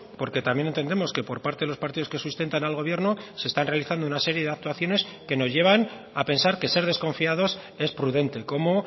porque también entendemos que por parte de los partidos que sustentan al gobierno se están realizando una serie de actuaciones que nos llevan a pensar que ser desconfiados es prudente como